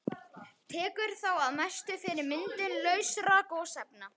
Tekur þá að mestu fyrir myndun lausra gosefna.